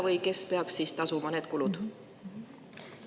Või kes peab siis tasuma need kulud?